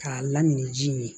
K'a lamini ji in ye